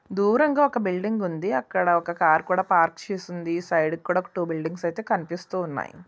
దూరంగా ఒక బిల్డింగ్ ఉంది అక్కడ కూడా ఒక కార్ పార్క్ చేసి ఉంది సైడ్ కి కూడా టూ బిల్డింగ్స్ అయితే కనిపిస్తున్నాయి.